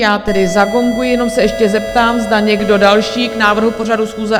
Já tedy zagonguji, jenom se ještě zeptám, zda někdo další k návrhu pořadu schůze?